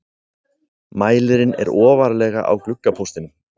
Mælirinn er ofarlega á gluggapóstinum.